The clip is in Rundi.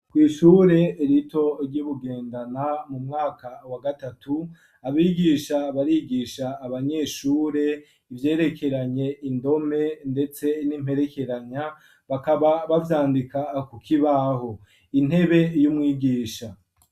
kw'ishure rito ryi Bugendana mu mwaka wa gatatu abigisha barigisha abanyeshure ivyerekeranye indome ,ndetse n'imperekeranya bakaba bazandika ku kibaho intebe y'umwigisha.